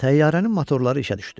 Təyyarənin motorları işə düşdü.